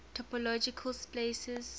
topological spaces